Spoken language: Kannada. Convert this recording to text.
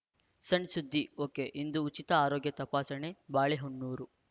ಸಣ್‌ ಸುದ್ದಿ ಒಕೆಇಂದು ಉಚಿತ ಆರೋಗ್ಯ ತಪಾಸಣೆ ಬಾಳೆಹೊನ್ನೂರು